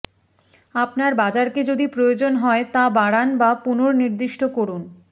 আপনার বাজারকে যদি প্রয়োজন হয় তা বাড়ান বা পুনঃনির্দিষ্ট করুন